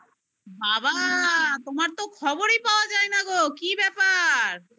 বাবা তোমার তো খবরই পাওয়া যায় না গো কি ব্যাপার?